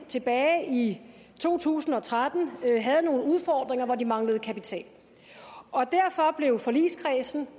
tilbage i to tusind og tretten havde nogle udfordringer hvor de manglede kapital derfor blev forligskredsen